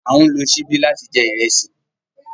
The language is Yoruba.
A n lo sibi lati jẹ irẹsi